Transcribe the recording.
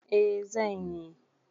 Eh zan yi.